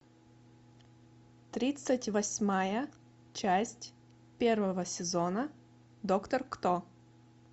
тридцать восьмая часть первого сезона доктор кто